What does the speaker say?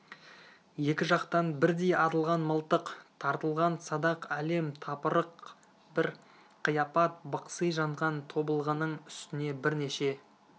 екі жақтан бірдей атылған мылтық тартылған садақ әлем-тапырық бір қияпат бықси жанған тобылғының үстіне бірнеше